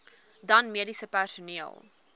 dan mediese personeel